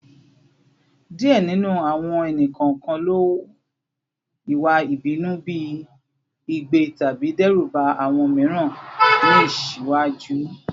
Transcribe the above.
Diẹ ninu awọn ẹni-kọọkan lo iwa ibinu bi igbe tabi dẹruba awọn miiran ni iṣaaju